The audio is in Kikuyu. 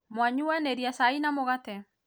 mwanyuanĩria cai na mũgate?